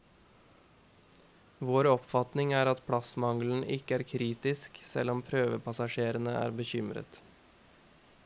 Vår oppfatning er at plassmangelen ikke er kritisk, selv om prøvepassasjerene er bekymret.